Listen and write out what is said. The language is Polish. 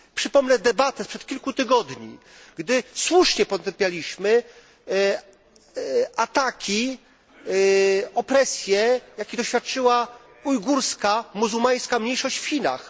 Przypomnę debatę sprzed kilku tygodni, gdy słusznie potępialiśmy ataki, opresje, jakich doświadczyła ujgurska, muzułmańska mniejszość w Chinach.